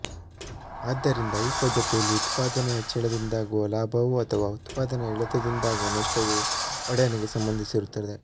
ಆದ್ದರಿಂದ ಈ ಪದ್ಧತಿಯಲ್ಲಿ ಉತ್ಪಾದನೆಯ ಹೆಚ್ಚಳದಿಂದಾಗುವ ಲಾಭವೂ ಅಥವಾ ಉತ್ಪಾದನೆಯ ಇಳಿತದಿಂದಾಗುವ ನಷ್ಟವೂ ಒಡೆಯನಿಗೆ ಸಂಬಂಧಿಸಿರುತ್ತದೆ